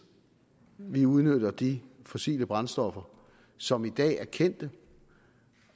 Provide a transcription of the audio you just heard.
vi udnytter de fossile brændstoffer som i dag er kendte